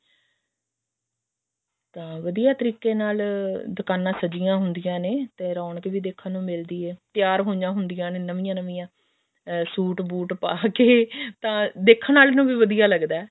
ਤਾਂ ਵਧੀਆ ਤਰੀਕੇ ਨਾਲ ਦੁਕਾਨਾਂ ਸਜੀਆਂ ਹੁੰਦੀਆਂ ਨੇ ਰੋਣਕ ਵੀ ਦੇਖਣ ਨੂੰ ਮਿਲਦੀ ਹੈ ਤਿਆਰ ਹੋਈਆਂ ਹੁੰਦੀਆ ਨੇ ਨਵੀਆਂ ਨਵੀਆਂ ਸੂਟ ਬੂਟ ਪਾ ਕੇ ਤਾਂ ਦੇਖਣ ਵਾਲੇ ਨੂੰ ਵੀ ਵਧੀਆ ਲੱਗਦਾ